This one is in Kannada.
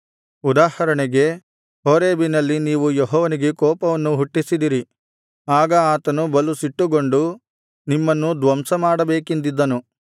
ಉದಾಹರಣೆಗೆ ಹೋರೇಬಿನಲ್ಲಿ ನೀವು ಯೆಹೋವನಿಗೆ ಕೋಪವನ್ನು ಹುಟ್ಟಿಸಿದಿರಿ ಆಗ ಆತನು ಬಲು ಸಿಟ್ಟುಗೊಂಡು ನಿಮ್ಮನ್ನು ಧ್ವಂಸ ಮಾಡಬೇಕೆಂದಿದ್ದನು